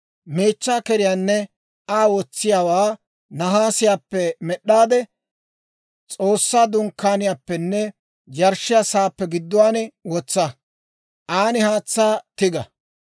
«Meechchaa keriyaanne Aa wotsiyaawaa nahaasiyaappe med'd'aade S'oossaa Dunkkaaniyaappenne yarshshiyaa sa'aappe gidduwaan wotsa; an haatsaa tiga.